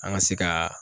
An ka se ka